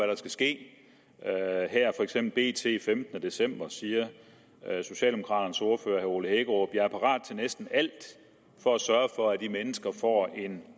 der skal ske i bt den femtende december siger socialdemokraternes ordfører herre ole hækkerup feks jeg er parat til næsten alt for at sørge for at de mennesker får en